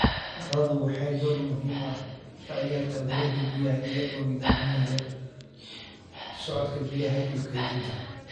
Carradu waxay door muhiim ah ka ciyaartaa wareegga biyaha iyagoo nidaaminaya socodka biyaha iyo kaydinta.